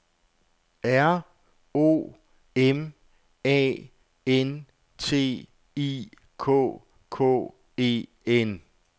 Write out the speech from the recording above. R O M A N T I K K E N